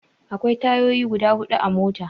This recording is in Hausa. Akwai tayoyi guda hudu a mota.